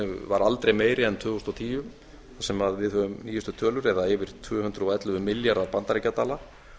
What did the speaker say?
var aldrei meiri en tvö þúsund og tíu sem við höfum nýjustu tölur eða yfir tvö hundruð og ellefu milljarða bandaríkjadala